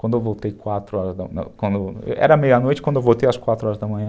Quando eu voltei quatro horas da manhã... Era meia-noite, quando eu voltei às quatro horas da manhã,